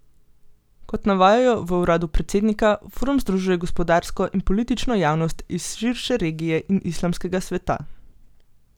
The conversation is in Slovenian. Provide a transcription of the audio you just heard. Kot navajajo v uradu predsednika, forum združuje gospodarsko in politično javnost iz širše regije in islamskega sveta.